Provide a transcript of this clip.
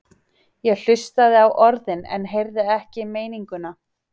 Ég hlustaði á orðin en heyrði ekki meininguna.